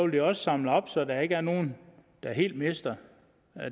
bliver samlet op så der ikke er nogen der helt mister